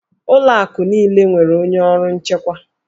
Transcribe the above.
Ụlọ akụ niile nwere onye ọrụ nchekwa